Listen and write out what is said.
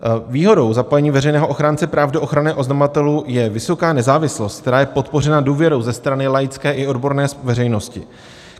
Výhodou zapojení veřejného ochránce práv do ochrany oznamovatelů je vysoká nezávislost, která je podpořena důvěrou ze strany laické i odborné veřejnosti.